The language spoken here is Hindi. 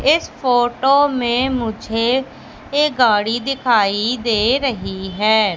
इस फोटो में मुझे एक गाड़ी दिखाई दे रही हैं।